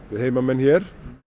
heimamenn hér